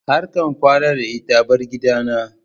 Har ka kwana da ita! bar gidana.